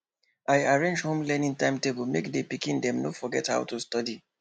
i arrange home learning timetable make the pikin dem no forget how to study